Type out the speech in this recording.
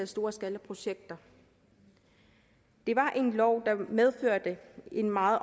storskalaprojekter det var en lov der medførte en meget